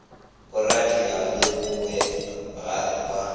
boradia le bobe ga ba